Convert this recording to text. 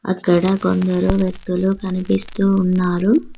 అక్కడ కొందరు వ్యక్తులు కనిపిస్తూ ఉన్నారు.